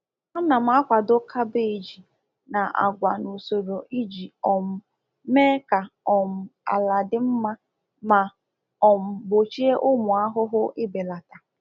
A na m akwado kabeeji na agwa n’usoro iji um mee ka um ala dị mma ma um gbochie ụmụ ahụhụ ibelata.